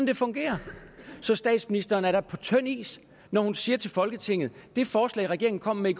det fungerer så statsministeren er da på tynd is når hun siger til folketinget det forslag regeringen kom med